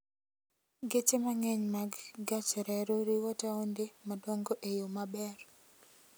Geche mang'eny mag gach reru riwo taonde madongo e yo maber.